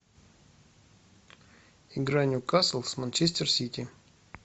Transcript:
игра ньюкасл с манчестер сити